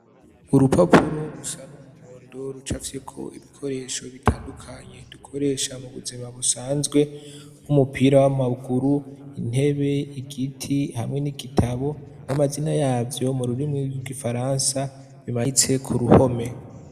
Urupapuro rusa n'umuhondo rucafyeko ibikoresho bitandukanye dukoresha mu buzima busanzwe nk'umupira w'amaguru intebe igiti hamwe n'igitabo n'amazina yavyo mu rurimi gw'igifaransa bimanitse ku ruhome.